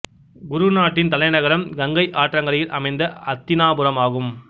குரு நாட்டின் தலைநகரம் கங்கை ஆற்றாங்கரையில் அமைந்த அத்தினாபுரம் ஆகும்